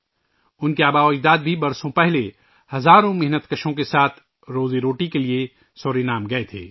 ان کے اجداد بھی سالوں پہلے روزی کمانے کے لئے ہزاروں کارکنوں کے ساتھ سورینام گئے تھے